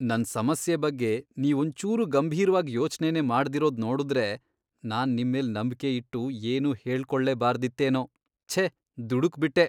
ನನ್ ಸಮಸ್ಯೆ ಬಗ್ಗೆ ನೀವೊಂಚೂರೂ ಗಂಭೀರ್ವಾಗ್ ಯೋಚ್ನೆನೇ ಮಾಡ್ದೆರೋದ್ ನೋಡುದ್ರೆ ನಾನ್ ನಿಮ್ಮೇಲ್ ನಂಬ್ಕೆ ಇಟ್ಟು ಏನ್ನೂ ಹೇಳ್ಕೊಳ್ಲೇಬಾರ್ದಿತ್ತೇನೋ, ಛೇ ದುಡುಕ್ಬಿಟ್ಟೆ.